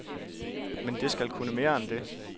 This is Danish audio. Men det skal kunne mere end det.